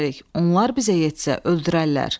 Onlar bizə yetsə öldürərlər.